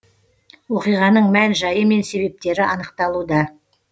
оқиғаның мән жайы мен себептері анықталуда